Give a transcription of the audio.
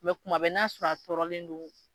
kuma bɛ n'a sɔrɔ a tɔɔrɔlen don